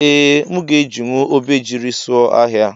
Ee mụ ga ejinwụ obejiri sụọ ọhia.